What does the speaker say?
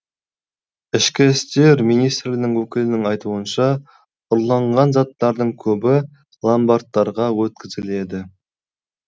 ішкі істер министрінің өкілінің айтуынша ұрланған заттардың көбі ломбардтарға өткізіледі